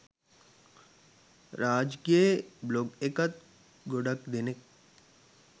රාජ්ගේ blog එකත් ගොඩක් දෙනෙක්